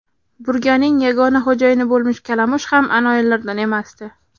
Burganing yagona xo‘jayini bo‘lmish kalamush ham anoyilardan emasdi.